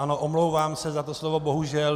Ano, omlouvám se za to slovo bohužel.